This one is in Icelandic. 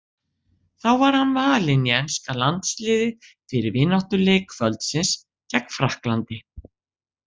Þá var hann valinn í enska landsliðið fyrir vináttuleik kvöldsins gegn Frakklandi.